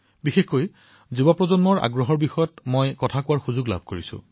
বিশেষকৈ যুৱচামৰ আগ্ৰহৰ বাবে এই বিষয়ত আলোচনা কৰাৰ সুযোগ লাভ কৰিছো